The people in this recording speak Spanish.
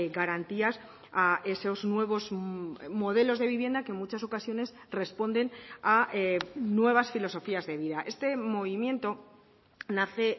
garantías a esos nuevos modelos de vivienda que en muchas ocasiones responden a nuevas filosofías de vida este movimiento nace